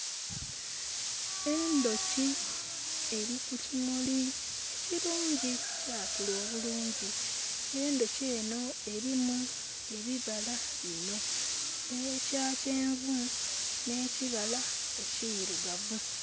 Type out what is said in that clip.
Endhoki eri ku kimuli ekirungi, ekyakula obulungi. Endhoki enho erimu ebibala bino; ekya kyenvu n' ekibala ekirugavu.